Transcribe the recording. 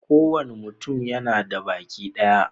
Kowane mutum yana da baki daya